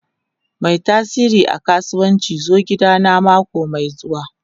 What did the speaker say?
Mai tasirin a kasuwanci zo gidana mako mai zuwa.